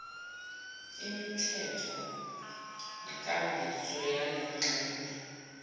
imithethonkambiso yale ngxenye